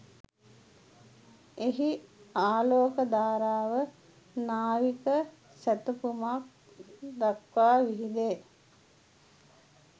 එහි ආලෝක ධාරාව නාවික සැතපුම්ක් දක්වා විහිදේ